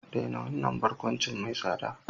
Daina wannan barkwanci mai tsada!